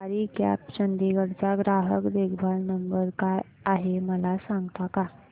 सवारी cabs Chandigarh चा ग्राहक देखभाल नंबर काय आहे मला सांगता का